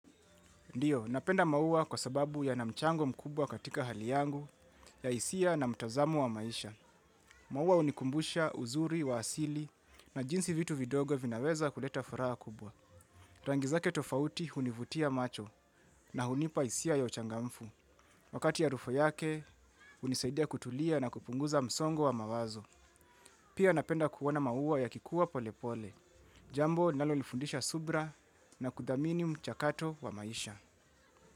Ndiyo, napenda maua kwa sababu ya namchango mkubwa katika hali yangu, ya hisia na mtazamo wa maisha. Maua unikumbusha uzuri wa asili na jinsi vitu vidogo vinaweza kuleta furaha kubwa. Rangizake tofauti hunivutia macho na hunipa isia ya uchangamfu. Wakati harufu yake, unisaidia kutulia na kupunguza msongo wa mawazo. Pia napenda kuona mauwa ya kikuwa polepole. Jambo nalolifundisha subra na kudhamini mchakato wa maisha.